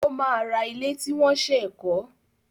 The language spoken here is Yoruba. Ó máa ra ilé tí wọ́n ṣẹ̀ kọ́.